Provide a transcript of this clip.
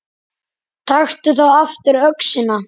Taktu þá aftur öxina.